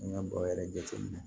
An ka bɔrɔ yɛrɛ jateminɛ